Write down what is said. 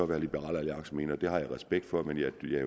hvad liberal alliance mener det har jeg respekt for men